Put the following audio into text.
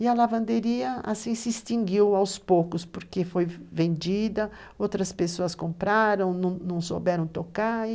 E a lavanderia se extinguiu aos poucos, porque foi vendida, outras pessoas compraram, não não souberam tocar.